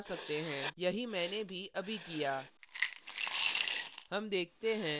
यही मैंने भी अभी किया